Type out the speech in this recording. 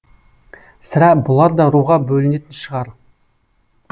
сірә бұлар да руға бөлінетін шығар